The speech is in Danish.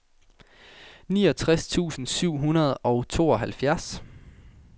niogtres tusind syv hundrede og tooghalvfjerds